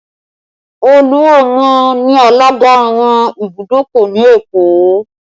Oluomo ni alaga àwọn ìbùdókọ̀ ni Èkó